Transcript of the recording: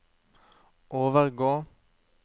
overgå